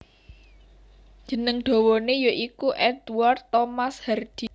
Jeneng dawané ya iku Edward Thomas Hardy